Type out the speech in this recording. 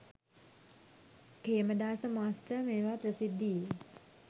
Khemadasa master මේවා ප්‍රසිද්ධියේ